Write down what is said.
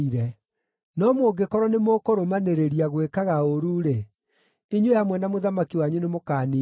No mũngĩkorwo nĩmũkũrũmanĩrĩria gwĩkaga ũũru-rĩ, inyuĩ hamwe na mũthamaki wanyu nĩmũkaniinwo biũ.”